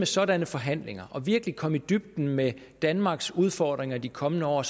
sådanne forhandlinger og virkelig komme i dybden med danmarks udfordringer de kommende år